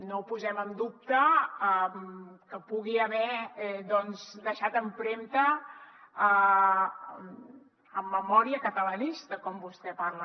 no posem en dubte que pugui haver deixat empremta en memòria catalanista com vostè parla